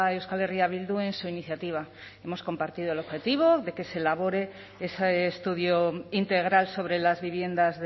euskal herria bildu en su iniciativa hemos compartido el objetivo de que se elabore ese estudio integral sobre las viviendas